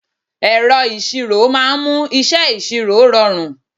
Ẹ̀rọ ìṣirò máa ń mú iṣẹ́ ìṣirò rọrùn.